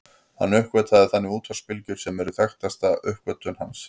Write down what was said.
Hann uppgötvaði þannig útvarpsbylgjur sem eru þekktasta uppgötvun hans.